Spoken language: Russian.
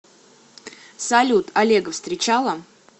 салют олега встречала